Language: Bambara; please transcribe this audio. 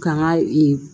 Ka n ka